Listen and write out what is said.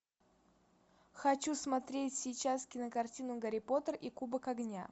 хочу смотреть сейчас кинокартину гарри поттер и кубок огня